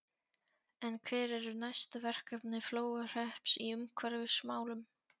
En hver eru næstu verkefni Flóahrepps í umhverfismálum?